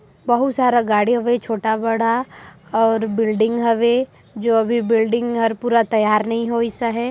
बहुत सारा गाड़ी हवे छोटा बड़ा और बिल्डिंग हवे जो अभी बिल्डिंग हर पूरा तैयार नहीं होईस आहे।